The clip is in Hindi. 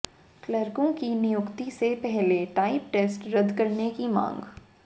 क्लर्कों की नियुक्ति से पहले टाइप टेस्ट रद्द करने की मांग